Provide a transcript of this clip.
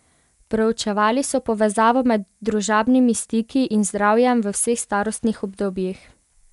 Proučevali so povezavo med družabnimi stiki in zdravjem v vseh starostnih obdobjih.